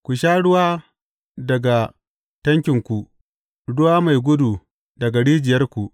Ku sha ruwa daga tankinku, ruwa mai gudu daga rijiyarku.